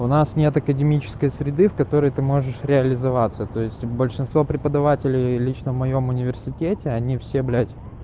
у нас нет академической среды в которой ты можешь реализоваться то есть большинство преподавателей лично в моем университете они все блять